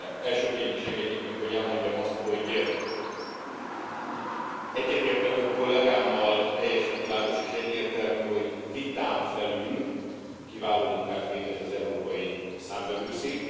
Elsőként is engedjék meg, hogy elmondjam azt, hogy egyetértve több kollégámmal teljesen világos és egyértelmű, hogy vitán felül kiváló munkát végez az Európai Számvevőszék.